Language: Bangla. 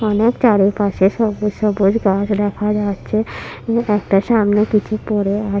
অনেক চারিপাশে সবুজ সবুজ গাছ দেখা যাচ্ছে। একটা সামনে কিছু পড়ে আ--